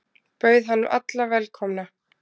Bauð hann alla velkomna.